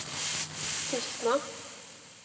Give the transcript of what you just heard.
Tustna